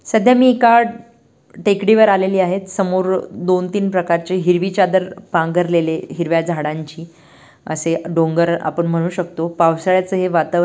सध्या मी एका टेकड़ीवर आलेली आहेत समोर दोन तीन प्रकारचे हिरवी चादर पांघरलेले हिरव्या झाडांची असे डोंगर आपण म्हणु शकतो पावसाळ्याच हे वातावरण--